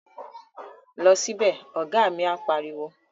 Lọ sí bẹ̀! Ọ̀gá mi á pariwo